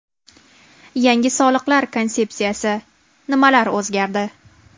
Yangi soliq konsepsiyasi: nimalar o‘zgardi?.